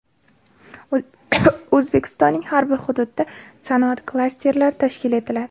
O‘zbekistonning har bir hududida sanoat klasterlari tashkil etiladi.